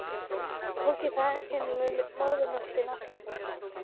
Tók ég það inn með móðurmjólkinni?